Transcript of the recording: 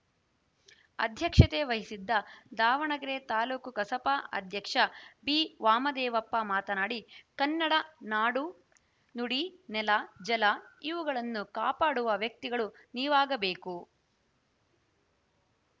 ಅಧ್ಯಕ್ಷತೆ ವಹಿಸಿದ್ದ ದಾವಣಗೆರೆ ತಾಲೂಕು ಕಸಾಪ ಅಧ್ಯಕ್ಷ ಬಿವಾಮದೇವಪ್ಪ ಮಾತನಾಡಿ ಕನ್ನಡ ನಾಡು ನುಡಿ ನೆಲ ಜಲ ಇವುಗಳನ್ನು ಕಾಪಾಡುವ ವ್ಯಕ್ತಿಗಳು ನೀವಾಗಬೇಕು